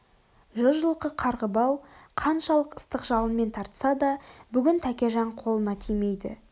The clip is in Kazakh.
жүз жылқы қарғы бау қаншалық ыстық жалынмен тартса да бүгін тәкежан қолына тимейді